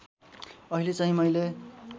अहिले चाहिँ मैले